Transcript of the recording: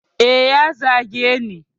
Eh ya zageni